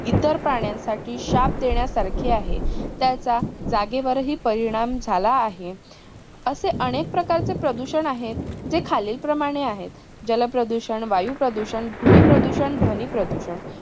इतर प्राण्यांसाठी शाप देण्यासारखी आहे. त्याचा जागेवरही परिणाम झाला आहे. असे अनेक प्रकारचे प्रदूषण आहे. जे खालील प्रमाणे आहेत. जल प्रदूषण, वायू प्रदूषण, भूमी प्रदूषण, ध्वनी प्रदूषण